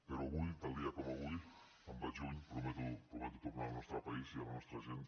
però avui tal dia com avui me’n vaig lluny prometo tornar al nostre país i a la nostra gent